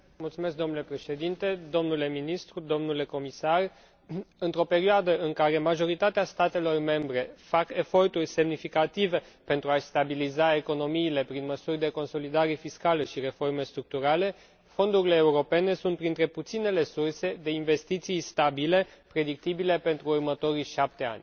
Domnule Președinte, domnule ministru, domnule comisar, într o perioadă în care majoritatea statelor membre fac eforturi semnificative pentru a și stabiliza economiile prin măsuri de consolidare fiscală și reforme structurale, fondurile europene sunt printre puținele surse de investiții stabile predictibile pentru următorii șapte ani.